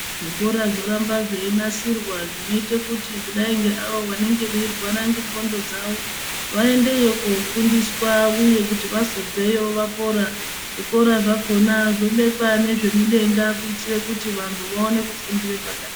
Zvikora zvoramba zveinasirwa zvinoite kuti kudai ngeavo vanenge veirwara nendxondo dzawo vaendeyo kofundiswa uye kuti vazobveyo vapora zvikora zvakona zvobekwa ngezvemudenga kuitire kuti vantu vapone kufundire pakanaka.